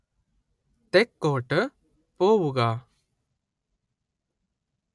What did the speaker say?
തെക്കോട്ട് പോവുക